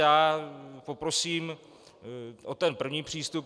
Já poprosím o ten první přístup.